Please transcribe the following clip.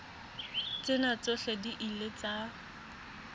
tsena tsohle di ile tsa